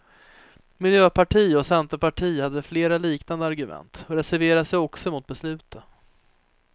Miljöpartiet och centerpartiet hade flera liknande argument och reserverade sig också emot beslutet.